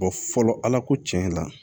fɔlɔ ala ko tiɲɛ la